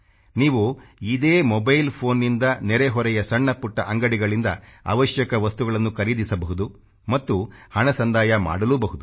ನೀವು ಇದೇ mobile phone ನಿಂದ ನೆರೆ ಹೊರೆಯ ಸಣ್ಣ ಪುಟ್ಟ ಅಂಗಡಿಗಳಿಂದ ಅವಶ್ಯಕ ವಸ್ತುಗಳನ್ನು ಖರೀದಿಸಬಹುದು ಮತ್ತು ಹಣ ಸಂದಾಯ ಮಾಡಲೂ ಬಹುದು